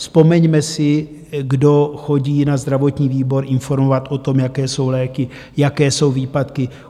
Vzpomeňme si, kdo chodí na zdravotní výbor informovat o tom, jaké jsou léky, jaké jsou výpadky.